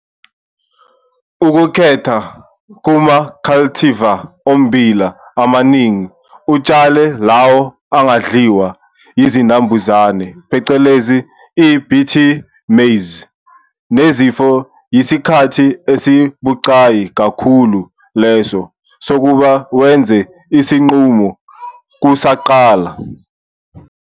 Ukukhetha kuma-cultivar ommbila amaningi utshale lawo angadliwa yizinambuzane, phecelezi, i-Bt Maize, nezifo yisikhathi esibucayi kakhulu leso sokuba wenze isinqumo kusaqala.